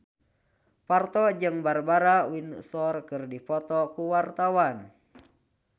Parto jeung Barbara Windsor keur dipoto ku wartawan